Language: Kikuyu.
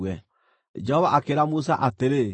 Jehova akĩĩra Musa atĩrĩ,